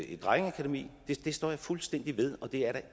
et drengeakademi det står jeg fuldstændig ved og det er der